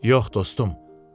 Yox, dostum.